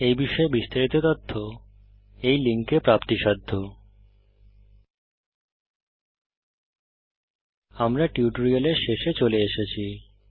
এই বিষয়ে বিস্তারিত তথ্য এই লিঙ্কে প্রাপ্তিসাধ্য httpspoken tutorialorgNMEICT Intro আমরা এই টিউটোরিয়ালের শেষে চলে এসেছি